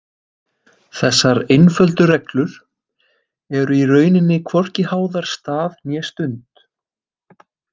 Þessar einföldu reglur eru í rauninni hvorki háðar stað né stund.